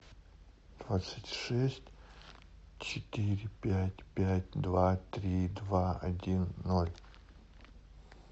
двадцать шесть четыре пять пять два три два один ноль